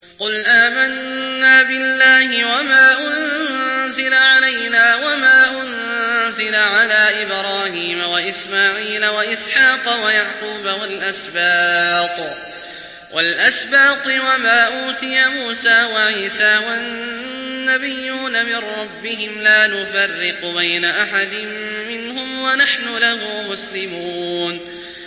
قُلْ آمَنَّا بِاللَّهِ وَمَا أُنزِلَ عَلَيْنَا وَمَا أُنزِلَ عَلَىٰ إِبْرَاهِيمَ وَإِسْمَاعِيلَ وَإِسْحَاقَ وَيَعْقُوبَ وَالْأَسْبَاطِ وَمَا أُوتِيَ مُوسَىٰ وَعِيسَىٰ وَالنَّبِيُّونَ مِن رَّبِّهِمْ لَا نُفَرِّقُ بَيْنَ أَحَدٍ مِّنْهُمْ وَنَحْنُ لَهُ مُسْلِمُونَ